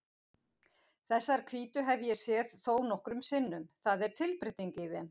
Þessar hvítu hef ég séð þónokkrum sinnum, það er tilbreyting í þeim.